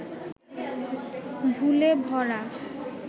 ভুলে ভরা